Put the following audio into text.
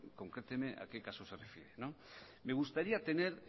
concréteme a que caso se refiere me gustaría tener